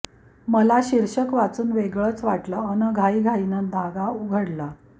मला शिर्षक वाचून वेगळंच वाटलं अन् घाईघाईनं धागा उघडला